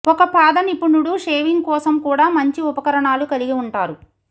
ఒక పాదనిపుణుడు షేవింగ్ కోసం కూడా మంచి ఉపకరణాలు కలిగి ఉంటారు